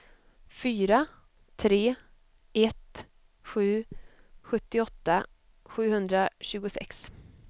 fyra tre ett sju sjuttioåtta sjuhundratjugosex